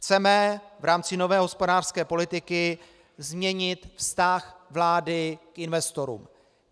Chceme v rámci nové hospodářské politiky změnit vztah vlády k investorům.